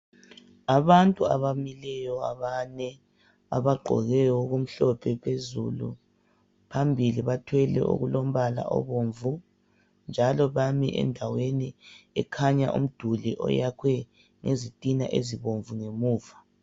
Abantu abamileyo abane, abagqoke okumhlophe phezulu. Phambili bathwele okulombala obomvu njalo bami endaweni ekhanya umduli oyakhwe ngezitina ezibomvu ngemuva.